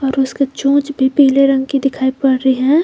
और उसकी चोंच भी पीले रंग की दिखाई पड़ रही है।